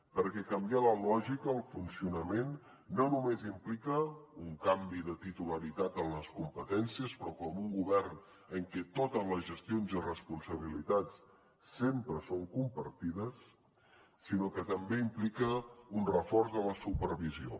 perquè canviar la lògica el funcionament no només implica un canvi de titularitat en les competències però com un govern en què totes les gestions i responsabilitats sempre són compartides sinó que també implica un reforç de la supervisió